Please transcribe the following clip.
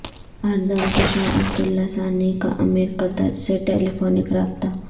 اردن کے شاہ عبداللہ ثانی کا امیر قطر سے ٹیلیفونک رابطہ